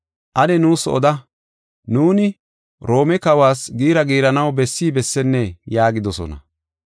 Ane nuus oda, nuuni Roome Kawas giira giiranaw bessi bessennee?” yaagidosona.